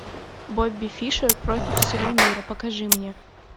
бобби фишер против всего мира покажи мне